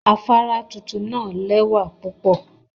Afara tuntun naa lewa pupo